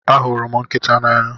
ahụrụ m nkịta n'anya